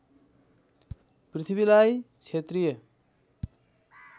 पृथ्वीलाई क्षत्रिय